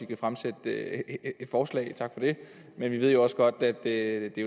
kan fremsætte et forslag tak for det men vi ved jo også godt at det